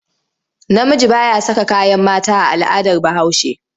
Namiji ba ya saka kayan mata a al'adar Bahaushe.